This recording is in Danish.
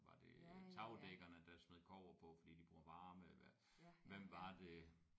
Var det tagdækkerne der smed kobber på fordi de bruger varme hvad hvem var det